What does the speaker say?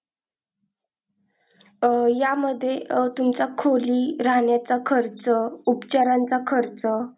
अह यामध्ये अह तुमचा खोली राहण्याचा खरच उपचारांचा खरच.